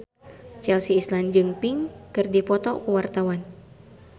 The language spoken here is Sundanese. Chelsea Islan jeung Pink keur dipoto ku wartawan